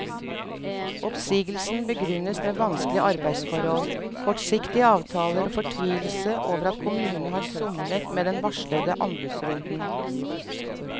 Oppsigelsen begrunnes med vanskelige arbeidsforhold, kortsiktige avtaler og fortvilelse over at kommunen har somlet med den varslede anbudsrunden.